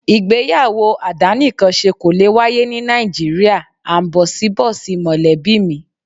Ìgbéyàwó àdánìkanṣe kò lè wáyé ní Nàìjíríà áńbọ̀síbọ̀sí mọ̀lẹ́bí mi.